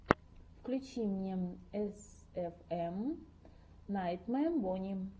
включи мне эсэфэм найтмэ бонни